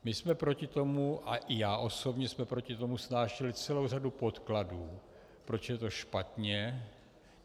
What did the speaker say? My jsme proti tomu a i já osobně jsme proti tomu snášeli celou řadu podkladů, proč je to špatně.